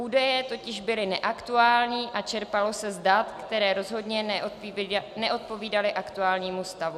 Údaje totiž byly neaktuální a čerpalo se z dat, která rozhodně neodpovídala aktuálnímu stavu.